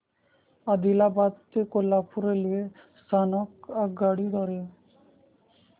आदिलाबाद ते कोल्हापूर रेल्वे स्थानक आगगाडी द्वारे